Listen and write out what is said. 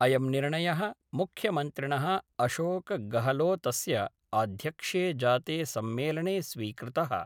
अयं निर्णय: मुख्यमन्त्रिण: अशोक गहलोतस्य आध्यक्ष्ये जाते सम्मेलने स्वीकृतः।